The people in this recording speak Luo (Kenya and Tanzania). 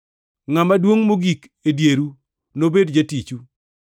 Ngʼama duongʼ mogik e dieru nobed jatichu.